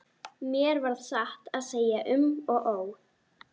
Mér varð satt að segja um og ó.